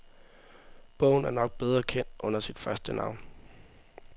Bogen er nok bedre kendt under sit første navn.